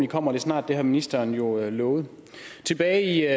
kommer det snart det har ministeren jo lovet tilbage